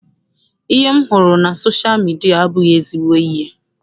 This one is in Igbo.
Ihe m hụrụ na sosha midia abụghị ezigbo ihe.